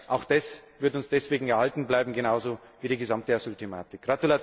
Auch das wird uns deswegen erhalten bleiben, genauso wie die gesamte Asylthematik.